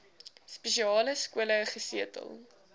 spesiale skole gesetel